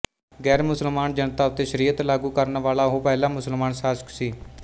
ਗੈਰਮੁਸਲਮਾਨ ਜਨਤਾ ਉੱਤੇ ਸ਼ਰੀਅਤ ਲਾਗੂ ਕਰਨ ਵਾਲਾ ਉਹ ਪਹਿਲਾ ਮੁਸਲਮਾਨ ਸ਼ਾਸਕ ਸੀ